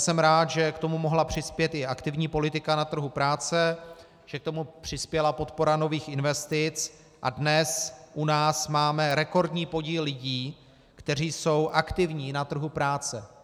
Jsem rád, že k tomu mohla přispět i aktivní politika na trhu práce, že k tomu přispěla podpora nových investic, a dnes u nás máme rekordní podíl lidí, kteří jsou aktivní na trhu práce.